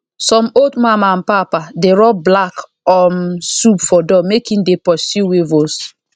some old mama and papa dey rub black um soup for door make e dey pursue weevils